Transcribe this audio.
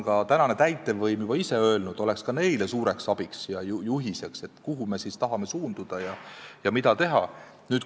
Ka täitevvõim on öelnud, et needsamad punktid oleksid ka neile suureks abiks ja juhiseks, need näitaksid, kuhu me tahame suunduda ja mida teha.